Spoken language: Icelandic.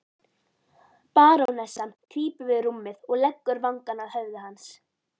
Barónessan krýpur við rúmið og leggur vangann að höfði hans.